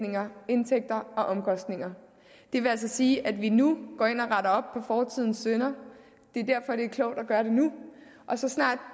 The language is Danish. og omkostninger det vil altså sige at vi nu går ind og retter op fortidens synder det er derfor at det er klogt at gøre det nu og så snart